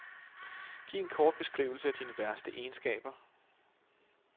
Giv en kort beskrivelse af dine værste egenskaber.